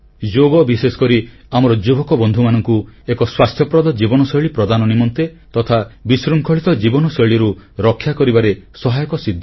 ଯୋଗ ବିଶେଷକରି ଆମର ଯୁବକ ବନ୍ଧୁମାନଙ୍କୁ ଏକ ସ୍ୱାସ୍ଥ୍ୟପ୍ରଦ ଜୀବନଶୈଳୀ ପ୍ରଦାନ ନିମନ୍ତେ ତଥା ବିଶୃଙ୍ଖଳିତ ଜୀବନଶୈଳୀରୁ ରକ୍ଷା କରିବାରେ ସହାୟକ ସିଦ୍ଧ